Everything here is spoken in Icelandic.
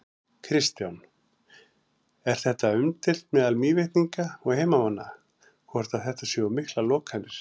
Kristján: Er þetta umdeilt meðal Mývetninga og heimamanna, hvort að þetta séu of miklar lokanir?